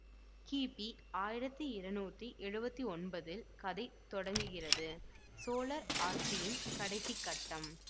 கிபி ஆயிரத்தி இருநூற்றி எழுவத்தி ஒன்பதில் கதை தொடங்குகிறது சோழர் ஆட்சியின் கடைசி கட்டம்